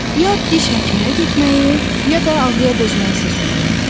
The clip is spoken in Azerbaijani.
Ya diş həkiminə getməyi, ya da ağrıya dözməyi seçməliyəm.